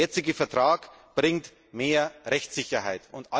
Der jetzige Vertrag bringt mehr Rechtssicherheit.